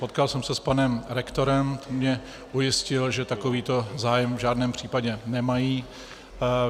Potkal jsem se s panem rektorem, on mě ujistil, že takovýto zájem v žádném případě nemají.